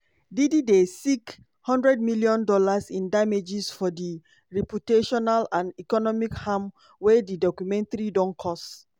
diddy dey seek hundred million dollars im damages for di "reputational and economic harm" wey di documentary don cause.